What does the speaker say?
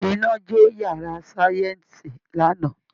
Iná jó yàrá sáyẹ́ǹsì lánàá